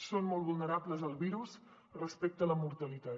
són molt vulnerables al virus respecte a la mortalitat